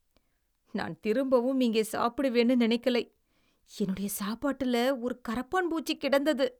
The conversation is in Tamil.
நான் திரும்பவும் இங்கே சாப்பிடுவேன்னு நினைக்கலை. என்னுடைய சாப்பாட்டுல ஒரு கரப்பான்பூச்சி கிடந்தது.